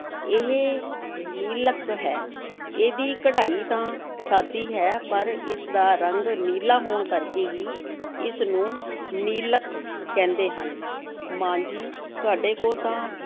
ਇਹ ਨੀਲਕ ਹੈ, ਇਹਦੀ ਕਢਾਈ ਤਾਂ ਸਾਦੀ ਹੈ ਪਰ ਇਸ ਦਾ ਰੰਗ ਨੀਲਾ ਹੋਣ ਕਰਕੇ ਹੀ ਇਸ ਨੂੰ ਨੀਲਕ ਕਹਿੰਦੇ ਹਨ, ਮਾਂ ਜੀ ਤੁਹਾਡੇ ਕੋਲ ਤਾਂ